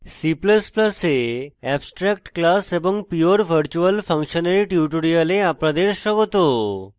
c ++ এ abstract class এবং pure virtual function এর tutorial আপনাদের স্বাগত